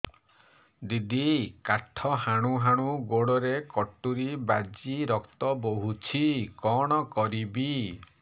ଦିଦି କାଠ ହାଣୁ ହାଣୁ ଗୋଡରେ କଟୁରୀ ବାଜି ରକ୍ତ ବୋହୁଛି କଣ କରିବି